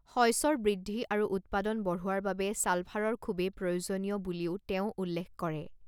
শইচৰ বৃদ্ধি আৰু উৎপাদন বঢ়োৱাৰ বাবে ছালফাৰৰ খুবেই প্ৰয়োজনীয় বুলিও তেওঁ উল্লেখ কৰে।